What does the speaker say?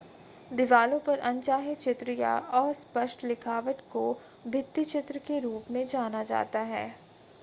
दिवालों पर अनचाहे चित्र या अस्पष्ट लिखावट को भित्तिचित्र के रूप में जाना जाता है